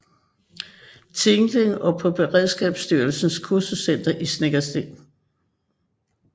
Tinglev og på Beredskabsstyrelsens Kursuscenter i Snekkersten